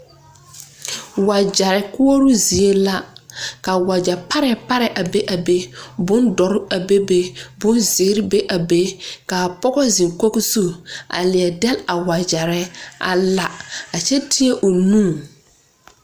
Waje kɔɔro zie la ka waje pare pare a be a be bundɔri a bebe, bonziire be a be kaa poɔ zeng kogo zu a leɛ dele a wujeri a la a kye teɛn ɔ nu.